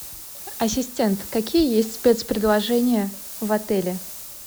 ассистент какие есть спецпредложения в отеле